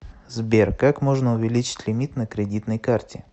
сбер как можно увеличить лимит на кредитной карте